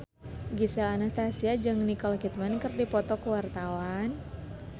Gisel Anastasia jeung Nicole Kidman keur dipoto ku wartawan